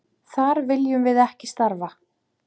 Þar viljum við ekki starfa.